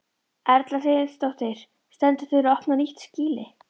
Erla Hlynsdóttir: Stendur til að opna nýtt skýli?